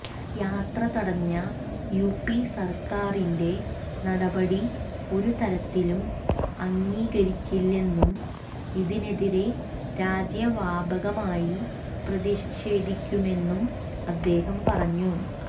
യാത്ര തടഞ്ഞ യുപി സര്ക്കാറിന്റെ നടപടി ഒരുതരത്തിലും അംഗീകരിക്കില്ലെന്നും ഇതിനെതിരെ രാജ്യവ്യാപകമായി പ്രതിഷേധിക്കുമെന്നും അദ്ദേഹം പറഞ്ഞു